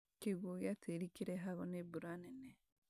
Kĩguũ gĩa tĩri kĩrehagwo nĩ mbura nene